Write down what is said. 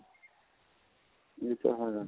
ਇਹ ਤਾਂ ਹੈ